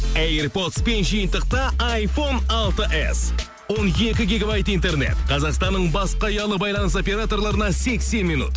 эйр подспен жиынтықта айфон алты эс он екі гигабайт интернет қазақстанның басқа ұялы байланыс операторларына сексен минут